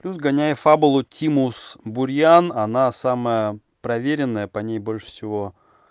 плюс гоняя фабулу тимус бурьян она самая проверенная по ней больше всего